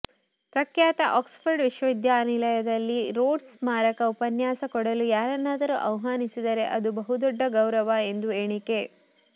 ಪ್ರಖ್ಯಾತ ಆಕ್ಸ್ಫರ್ಡ್ ವಿಶ್ವವಿದ್ಯಾನಿಲಯದಲ್ಲಿ ರೋಡ್ಸ್ ಸ್ಮಾರಕ ಉಪನ್ಯಾಸ ಕೊಡಲು ಯಾರನ್ನಾದರೂ ಆಹ್ವಾನಿಸಿದರೆ ಅದು ಬಹುದೊಡ್ಡ ಗೌರವ ಎಂದು ಎಣಿಕೆ